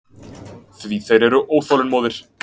Því þeir eru óþolinmóðir.